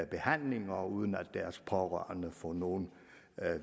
behandling og uden at deres pårørende får nogen